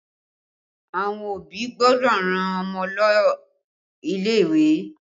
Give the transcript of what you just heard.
Àwọn òbí gbọ́dọ̀ rán Ọmọ lọ ilé ìwé